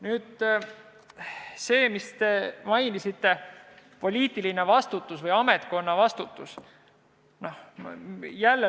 Nüüd sellest, mida te mainisite – poliitiline vastutus või ametkonna vastutus.